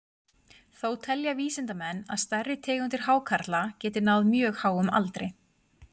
Þó telja vísindamenn að stærri tegundir hákarla geti náð mjög háum aldri.